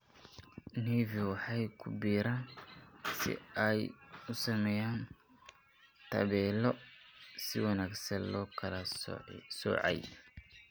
Nevi waxay ku biiraan si ay u sameeyaan tabeelo si wanaagsan loo kala soocay.